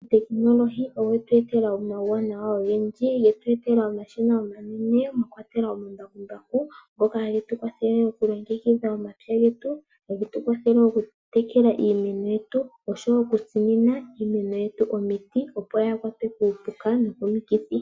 Otekinolohi oyetu etela omawuwanawa ogendji, yetu etela omashina omanene mwakwatelwa omambakumbaku, ngoka hagetu kwathele okulongekidha omapya getu, hagetu kwathele okutekela iimeno yetu osho wo okutsinina iimeno yetu omiti, opo yaahakwatwe kuupuka nokomikithi.